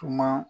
Tuma